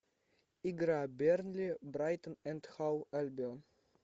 игра бернли брайтон энд хоув альбион